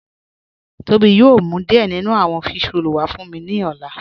Tobi yòò mú díẹ̀ nínú àwọn físhrọ̀lì wà fún mí ni ọ̀lá